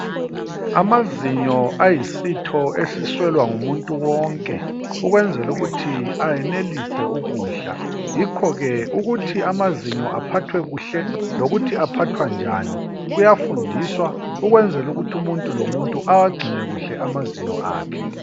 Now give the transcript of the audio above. Amazinyo ayisitho esiswela ngumuntu wonke ukwenzela ukuthi ayenelise ukudla. Yikho ke ukuthi amazinyo aphathwe kuhle lokuthi aphathwa njani kuyafundiswa ukwenzela ukuthi umuntu lomuntu awagcine kuhle amazinyo akhe.